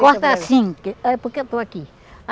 Corta assim, porque ãh porque eu estou aqui.